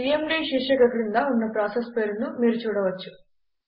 CMD శీర్షిక క్రింద ఉన్న ప్రాసెస్ పేరును మీరు చూడవచ్చు